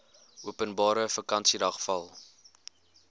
openbare vakansiedag val